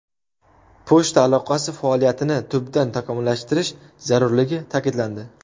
Pochta aloqasi faoliyatini tubdan takomillashtirish zarurligi ta’kidlandi.